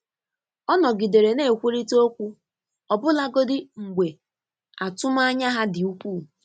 Ọ nọgidere na-ekwurịta okwu, ọbụlagodi mgbe atụmanya ha dị ukwuu.